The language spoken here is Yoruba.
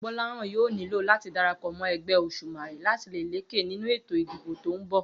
Gbó̩láhàn yóò nílò láti darapò̩ mó̩ e̩gbé̩ Òs̩ùmàrè láti lè lékè nínú ètò ìdìbò tó ń bò̩